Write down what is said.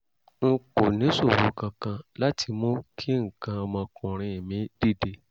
n kò níṣòro kankan láti mú kí nǹkan ọmọkùnrin mí dìde